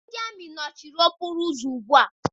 Ndị amị nọchiri okporo ụzọ ugbua.